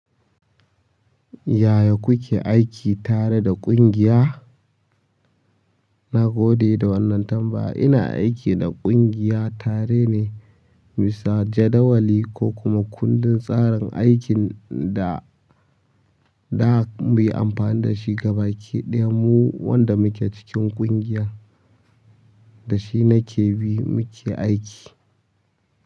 Yaya kuke aiki tare da ƙungiya? Na gode da wannan tambaya. Ina aiki da ƙungiya tare ne. Bisa jadawali ku kuma kundun tsarin aikin da zamu yi amfani da shi gaba ki ɗaya mu wanda muke cikin ƙungiyan da shi nake bi nake aiki.